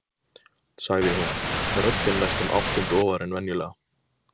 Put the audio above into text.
sagði hún, röddin næstum áttund ofar en venjulega.